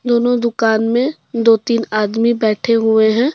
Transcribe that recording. दोनों दुकान में दो तीन आदमी बैठे हुए हैं।